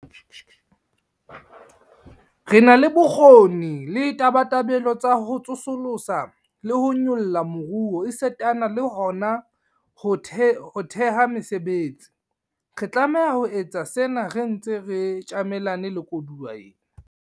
Re na le bokgoni le tabatabelo tsa ho tsosolosa le ho nyolla moruo esitana le hona ho theha mesebetsi. Re tlameha ho etsa sena re ntse re tjamelane le koduwa ena.